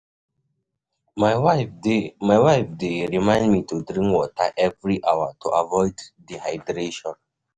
My wife dey My wife dey remind me to drink water every hour to avoid dehydration.